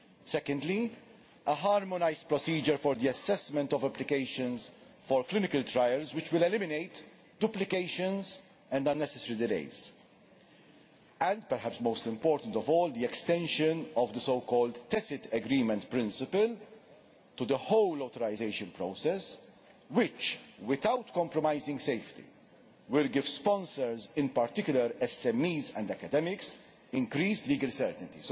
Secondly, a harmonised procedure for the assessment of applications for clinical trials, which will eliminate duplications and unnecessary delays, and perhaps most importantly of all the extension of the so called tacit agreement principle to the whole authorisation process which, without compromising safety, will give sponsors in particular SMEs and academics increased legal certainty.